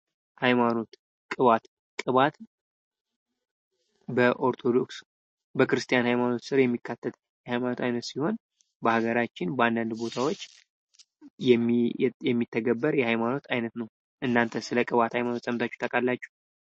ሃይማኖት ቅባት ቅባት በኦርቶዶክስ በክርስቲያን ሃይማኖት ስር የሚካተት የሃይማኖት አይነት ሲሆን በሀገራችን በአንዳንድ ቦታዎች የሚተገበር የሃይማኖት አይነት ነው:: እናንተስ ስለ ቅባት ሃይማኖት ሰምታችሁ ታውቃላችሁ?